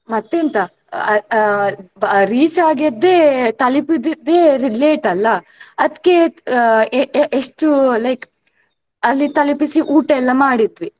ಮತ್ತೆಂತ ಆ ಆ reach ಆಗಿದ್ದೇ ತಲಿಪಿದಿದ್ದೆ late ಅಲ್ಲಾ ಅದ್ಕೇ ಅಹ್ ಎ~ ಎ~ ಎಷ್ಟು like ಅಲ್ಲಿ ತಲುಪಿಸಿ ಊಟ ಎಲ್ಲ ಮಾಡಿದ್ವಿ.